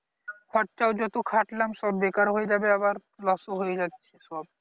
খরচাও যত খাটলাম সব বেকার হয়ে যাবে আবার loss ও হয়ে যাচ্ছে সব